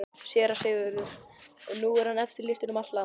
SÉRA SIGURÐUR: Og nú er hann eftirlýstur um allt land!